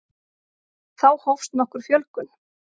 þá hófst nokkur fjölgun